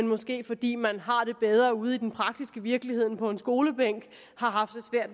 måske fordi man har det bedre ude i den praktiske virkelighed end på en skolebænk har haft